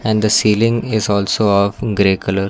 And the ceiling is also of grey colour.